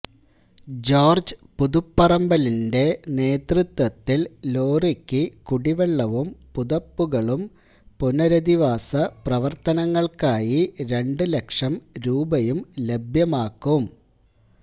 George പുതുപ്പറമ്പിലിന്റെ നേതൃത്വത്തില് ലോറിക്ക് കുടിവെള്ളവും പുതപ്പുകളും പുനരധിവാസ പ്രവര്ത്തനങ്ങള്ക്കായി രണ്ടുലക്ഷം രൂപയും ലഭ്യമാക്കും